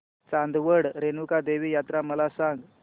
चांदवड रेणुका देवी यात्रा मला सांग